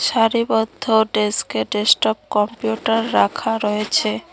সারিবদ্ধ ডেস্কে desktop computer রাখা রয়েছে।